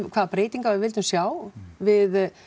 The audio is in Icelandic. hvaða breytingar við vildum sjá við